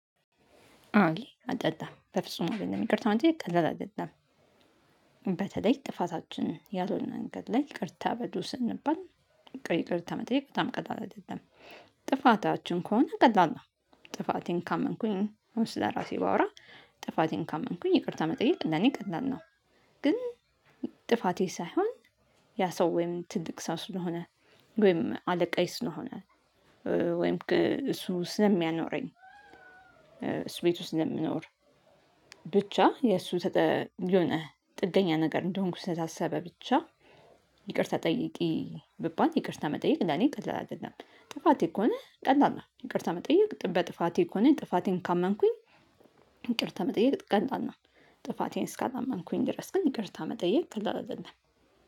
አይ አይደለም በፍጹም አይደለም ይቅርታ ማለቴ በተለይ ጥፋታችንን ያልሆነ አንገት ላይ ይቅርታ በሉ ስንባል ይቅርታ መጠየቅ በጣም ቀላል አይደለም ጥፋታችን ከሆነ ቀላል ነው። ጥፋቴን ካመንኩኝ ለራሴ ባወራ ጥፋቴን ካመንኩኝ ይቅርታ መጠየቅ ለኔ ቀላል ነው። ግን ጥፋቴ ሳይሆን ያ ሰው ወይም ትልቅ ሳውስ ስለሆነ ወይም አለቃዬ ስለሆነ ወይም እሱ ስለሚያኖረኝ እሱ ቤት ውስጥ ለምኖር እንደምኖር ብቻ የሱ የሆነ ጥደኛ ነገር እንደሆንኩ ስተታሰበ ብቻ ይቅርታ ጠይቄ ብባን ይቅርታ መጠየቅ እኔ ቀላ አይደለም። ጥፋቴ ከሆነ ቀላል ነው ይቅርታ መጠየቅ በጥፋቴ ከሆነ ጥፋቴን ካመንኩኝ ይቅርታ መጠየቅ ቀላል ነው ጥፋቴን እስካላመንኩኝ ድረስ ግን ይቅርታ መጠየቅ ክልል አይደለም።